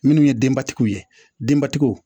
Minnu ye denbatigiw ye denbatigiw